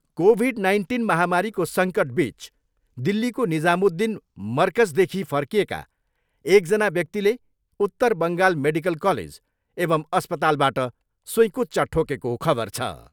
Covid nineteen महामारीको सङ्कटबिच दिल्लीको निजामुद्दिन मरकजदेखि फर्किएका एकजना व्यक्तिले उत्तर बङ्गाल मेडिकल कलेज एवम् अस्पतालबाट सुइँकुच्चा ठोकेको खबर छ।